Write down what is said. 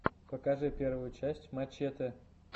покажи первую часть мачэтэ